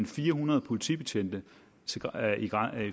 fire hundrede politibetjente